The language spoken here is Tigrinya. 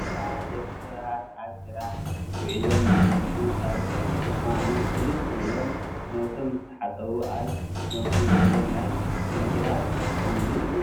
ፎጣ ደቂ ሰባት ኣብ ስራሕ ውዒለም ምስ መፅኡ ካብ ድካሞም ቅልል ክብሎም ነብሶም ምስ ታሓፀቡ ኣብ ነብሶም ዘሎ ማይ ንምድራቅ ዝጥቀምሉ እዩ።